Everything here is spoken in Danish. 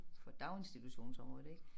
For daginstitutionsområdet ik